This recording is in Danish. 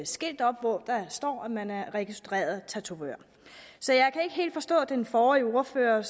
skilt op hvor der står at man er registreret tatovør så jeg kan ikke helt forstå den forrige ordfører